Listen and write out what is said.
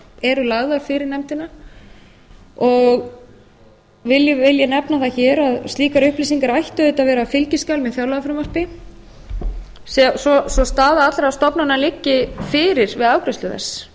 eru lagðar fyrir nefndina vil ég nefna það hér að slíkar upplýsingar ættu auðvitað að vera fylgiskjal með fjárlagafrumvarpi svo staða afla stofnana liggi fyrir við afgreiðslu